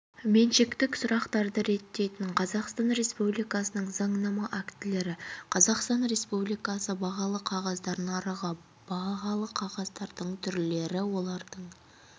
меншіктік сұрақтарды реттейтін қазақстан республикасының заңнама актілері қазақстан республикасы бағалы қағаздар нарығы бағалы қағаздардың түрлері олардың